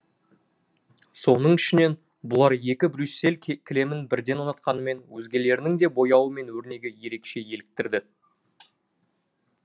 соның ішінен бұлар екі брюссель кілемін бірден ұнатқанымен өзгелерінің де бояуы мен өрнегі ерекше еліктірді